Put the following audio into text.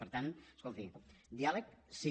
per tant escolti diàleg sí